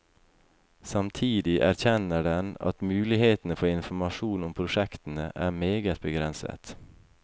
Samtidig erkjenner den at mulighetene for informasjon om prosjektene er meget begrenset.